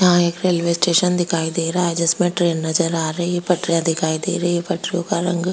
यहाँ एक railway station दिखाई दे रहा है जिसमें ट्रेन नजर आ रही है पटरियां दिखाई दे रही हैं पटरियों का रंग --